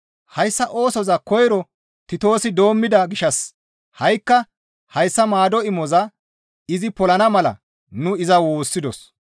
Hayssa oosoza koyro Titoosi doommida gishshas ha7ikka hayssa maado imoza izi polana mala nu iza woossidos.